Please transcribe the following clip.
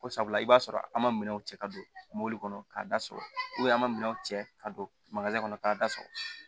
Ko sabula i b'a sɔrɔ an ma minɛnw cɛ ka don mobili kɔnɔ k'a da sɔrɔ an ka minɛnw cɛ ka don kɔnɔ k'a da sɔgɔ